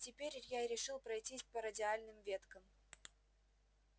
теперь я решил пройтись по радиальным веткам